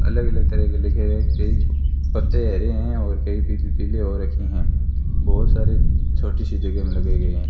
अलग अलग तरह के लिखे है कई पत्ते हरे हैं और कई पी पीले हो रखे हैं बहुत सारे छोटी सी जगह में लगाई गई हैं।